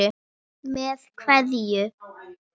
Með kveðju.